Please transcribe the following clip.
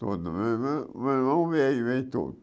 Todo, meu irmão o meu irmão veio, veio todo.